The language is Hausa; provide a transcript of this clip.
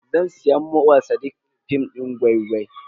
Zan siya wa sadiq film din gwai-gwai.